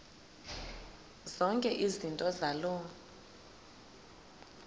zonke izinto zaloo